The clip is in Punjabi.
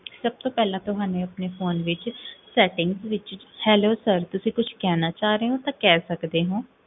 ਸਬ ਤੋਂ ਪੇਹ੍ਲਾਂ, ਤੁਹਾਨੇ, ਫੋਨ ਵਿੱਚ, settings ਵਿੱਚ hello sir, ਤੁਸੀਂ ਕੁਛ ਕਹਨਾ ਚਾਹ ਰਹੇ ਹੋ, ਤਾਂ ਕਹ ਸਕਦੇ ਹੋ